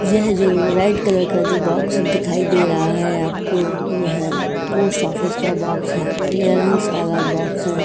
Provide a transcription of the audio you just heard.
यह जो red colour का जो बॉक्स दिखाई दे रहा है आपको यह पोस्ट ऑफिस का बॉक्स है। क्लेयरेंस वाला बॉक्स है।